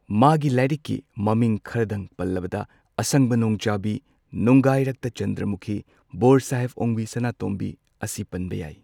ꯃꯥꯒꯤ ꯂꯥꯏꯔꯤꯛꯀꯤ ꯃꯃꯤꯡ ꯈꯔꯗꯪ ꯄꯜꯂꯕꯗ ꯑꯁꯪꯕ ꯅꯣꯡꯖꯥꯕꯤ, ꯅꯨꯡꯒꯥꯏꯔꯛꯇ ꯆꯟꯗ꯭ꯔꯃꯨꯈꯤ, ꯕꯣꯔ ꯁꯥꯍꯦꯕ ꯑꯣꯡꯕꯤ ꯁꯅꯥꯇꯣꯝꯕꯤ ꯑꯁꯤ ꯄꯟꯕ ꯌꯥꯏ꯫